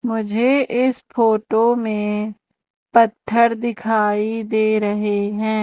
मुझे इस फोटो में पत्थर दिखाई दे रहे हैं।